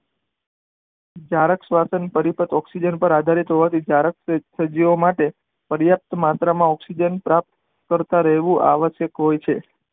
જારક શ્વસન તરીકે ઓકઝીજન પર આધારિત હોવાથી જરાક પ્રયાપ્ત માત્ર માં ઓકઝીજન પ્રાપ્ત કરતા રેવું આવશક હોય છે.